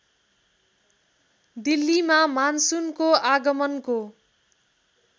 दिल्लीमा मानसुनको आगमनको